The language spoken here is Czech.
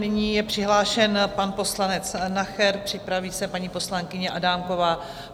Nyní je přihlášen pan poslanec Nacher, připraví se paní poslankyně Adámková.